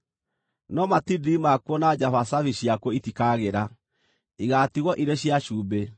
No matindiri makuo na njabacabi ciakuo itikagĩra; igaatigwo irĩ cia cumbĩ.